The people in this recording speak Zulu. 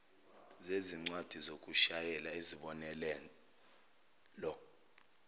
zezincwadi zokushayela izibonelelo